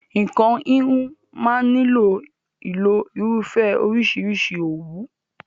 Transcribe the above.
Nǹkan híhun máa ń nílò ìlo irúfẹ́ oríṣìíríṣìí òwú.